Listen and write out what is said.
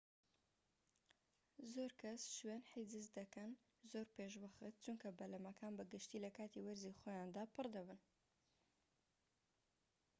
زۆرکەس شوێن حیجز دەکەن زۆر پێشوەخت چونکە بەلەمەکان بە گشتی لەکاتی وەرزی خۆیاندا پڕ دەبن